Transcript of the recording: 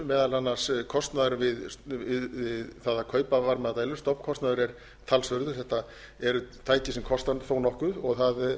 meðal annars kostnaður við það að kaupa varmadælur stofnkostnaður er talsverður þetta eru tæki sem kosta þó nokkuð og það